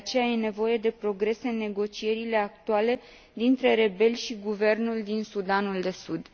De aceea, e nevoie de progres în negocierile actuale dintre rebeli și guvernul din Sudanul de Sud.